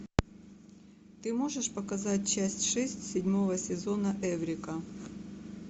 ты можешь показать часть шесть седьмого сезона эврика